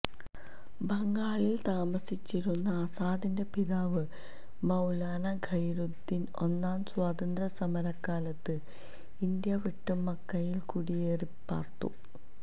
ബംഗാളിൽ താമസിച്ചിരുന്ന ആസാദിന്റെ പിതാവ് മൌലാന ഖയിറുദ്ദീൻ ഒന്നാം സ്വാതന്ത്ര്യ സമരകാലത്ത് ഇന്ത്യ വിട്ട് മക്കയിൽ കുടിയേറിപ്പാർത്തു